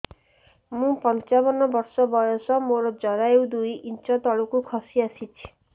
ମୁଁ ପଞ୍ଚାବନ ବର୍ଷ ବୟସ ମୋର ଜରାୟୁ ଦୁଇ ଇଞ୍ଚ ତଳକୁ ଖସି ଆସିଛି